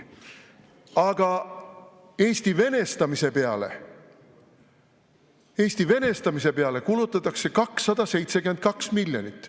Aga Eesti venestamise peale kulutatakse 272 miljonit.